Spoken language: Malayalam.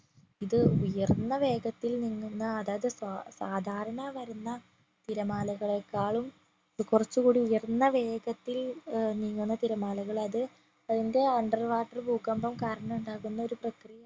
ഇത് ഉയർന്ന വേഗത്തിൽ പൊങ്ങുന്ന അതായതു സ സാധാരണ വരുന്ന തിരമാലകളെക്കാളും കൊറച്ച്കൂടി ഉയർന്ന വേഗത്തില് ഏർ നീങ്ങുന്ന തിരമാലകളത് അതിന്റെ under water ഭൂകമ്പം കാരണം ഉണ്ടാകുന്ന ഒരു പ്രക്രിയ